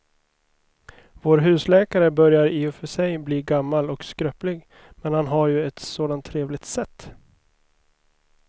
Vår husläkare börjar i och för sig bli gammal och skröplig, men han har ju ett sådant trevligt sätt!